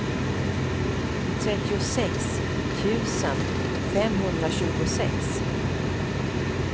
trettiosex tusen femhundratjugosex